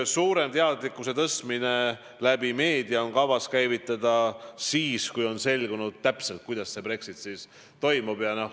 Suurem teadlikkuse tõstmine meedia kaudu on kavas käivitada siis, kui on selgunud, kuidas Brexit toimub.